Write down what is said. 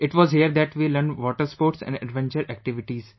It was here that we learnt water sports and adventure activities